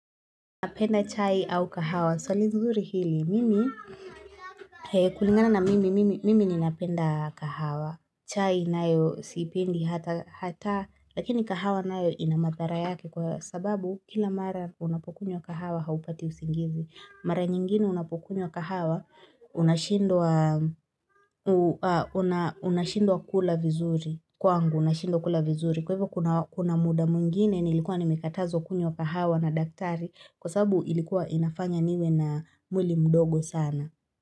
Napenda chai au kahawa? Swali nzuri hili mimi kulingana na mimi, mimi ninapenda kahawa chai nayo siipendi hata, hata. Lakini kahawa nayo ina madhara yake kwa sababu kila mara unapokunywa kahawa haupati usingizi. Mara nyingine unapokunywa kahawa unashindwa unashindwa kula vizuri, kwangu nashindwa kula vizuri. Kwa hivyo kuna muda mwingine nilikuwa nimekatazwa kunywa kahawa na daktari kwa sabu ilikuwa inafanya niwe na mwili mdogo sana.